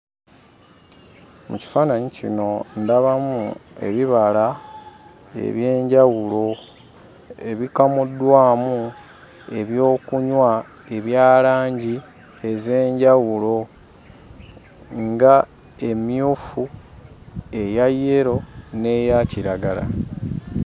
Mu kifaananyi kino ndabamu ebibala eby'enjawulo ebikamuddwamu ebyokunywa ebya langi ez'enjawulo ng'emmyufu, eya yero n'eya kiragala.